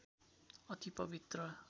अति पवित्र